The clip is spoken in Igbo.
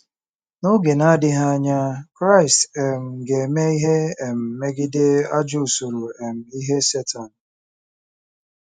N’oge na-adịghị anya, Kraịst um ga-eme ihe um megide ajọ usoro um ihe Setan.